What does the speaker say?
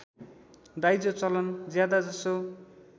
दाइजो चलन ज्यादाजसो